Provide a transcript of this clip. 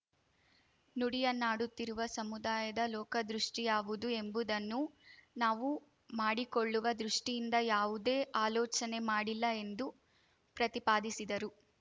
ನುಡಿಯನ್ನಾಡುತ್ತಿರುವ ಸಮುದಾಯದ ಲೋಕದೃಷ್ಟಿಯಾವುದು ಎಂಬುದನ್ನು ನಾವು ಮಾಡಿಕೊಳ್ಳುವ ದೃಷ್ಟಿಯಿಂದ ಯಾವುದೇ ಆಲೋಚನೆ ಮಾಡಿಲ್ಲ ಎಂದು ಪ್ರತಿಪಾದಿಸಿದರು